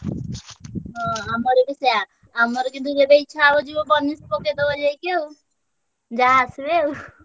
ଆମର ବି ସେୟା ଆମର କିନ୍ତୁ ଯେବେ ଇଚ୍ଛା ହଉଛି ବନିଶି ପକେଇଦବ ଯାଇକି ଆଉ। ଯାହା ଆସିବେ ଆଉ